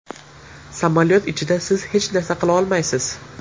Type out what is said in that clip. Samolyot ichida siz hech narsa qila olmaysiz.